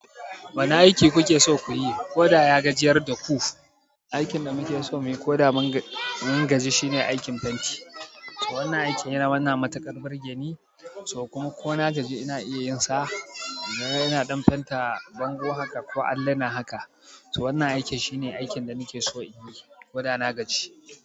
Wane aiki kuke so kuyi? Koda ya gajiyar da ku. Aikin da mu keso muyi ko da mun gaji shine aikin fenti. So wannan aikin yana wannan matuƙar burge ni, so ko na gaji ina iya yin sa. Ina ɗan fenta bango haka ko alluna haka. To wannan aikin shine aikin da nake so in yi ko da na gaji.